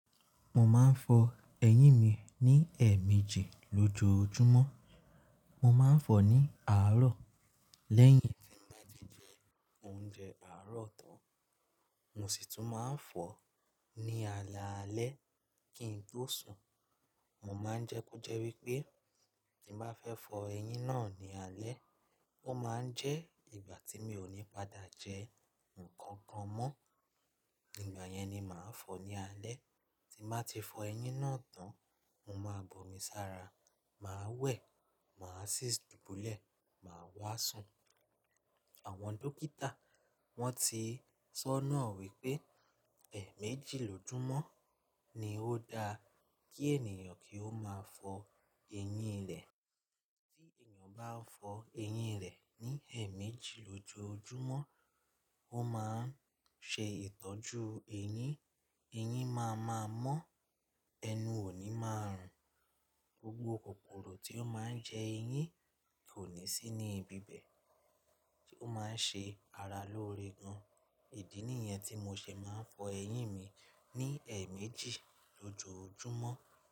Mo máa ń fọ ẹyín mi ní ẹ̀ẹ̀méjì lójoojúmọ́. Mo máa ń fọ ní àárọ̀ lẹ́yìn tí n bá ti jẹ oúnjẹ àárọ̀ tán. Mo sì tún máa ń fọ ní alaalẹ́ kí n tó sùn. Mo máa ń jẹ́ kó jẹ́ wípé tí bá fẹ́ fọ ẹyín náà ní alẹ́, ó máa ń jẹ́ ìgbà tí mi ò ní padà jẹ nǹkan kan mọ́. Ígbà yẹn ni màá fọ ní alẹ́. Tí bá ti fọ ẹyín náà tán, mo máa bomi sára, màá wẹ̀, màá sì dubulẹ, màá wá sùn. Àwọn dókítà wọ́n ti sọ́nà wípé ẹ̀ẹ̀méjì lójoojúmọ́ ni ó da kí ènìyàn kí ó máa fọ ẹyín rẹ̀. Tí ènìyàn bá fọ ẹyín rẹ̀ ní ẹ̀ẹ̀méjì lójoojúmọ́, ó máa ń ṣe ìtọ́jú ẹyín. Ẹyín máa ma mọ́, ẹnu òní máa rùn. Gbogbo kòkòrò tí ó máa ń jẹ ẹyín kò ní sí ní ibi bẹ̀ tí ó máa ń ṣe ara lóore gan. Idí nìyẹn tí mo ṣe máa ń fọ ẹyín mi ní ẹ̀ẹ̀méjì lójoojúmọ́.